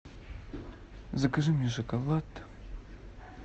закажи мне шоколад